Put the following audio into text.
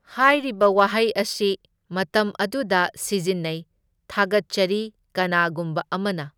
ꯍꯥꯏꯔꯤꯕ ꯋꯥꯍꯩ ꯑꯁꯤ ꯃꯇꯝ ꯑꯗꯨꯗ ꯁꯤꯖꯤꯟꯅꯩ, ꯊꯥꯒꯠꯆꯔꯤ ꯀꯅꯥꯒꯨꯝꯕ ꯑꯃꯅ꯫